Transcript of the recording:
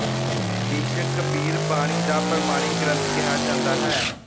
ਬੀਜਕ ਕਬੀਰ ਬਾਣੀ ਦਾ ਪ੍ਰਮਾਣਿਕ ਗਰੰਥ ਕਿਹਾ ਜਾਂਦਾ ਹੈ